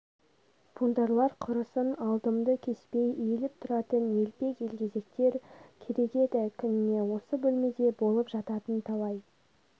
бунтарлар құрысын алдымды кеспей иіліп тұратын елпек елгезектер керек деді күніне осы бөлмеде болып жататын талай